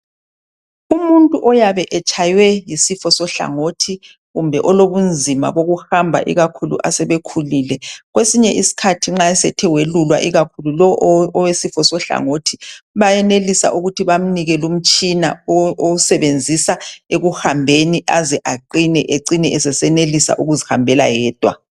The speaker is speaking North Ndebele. Umuntu oyabe etshaywe yisifo sohlangothi kumbe olobunzima bokuhamba ikakhulu asebekhulile kwesinye isikhathi nxa sethe wayelulwa ikakhulu lo ewesifo sohlangothi bayenelisa ukuthi bamnike lumtshina osebenzisa ekuhambeni aze aqine acine senelisa ukuzikambela yedwa.